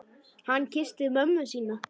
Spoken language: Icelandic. Hann kyssti mömmu sína.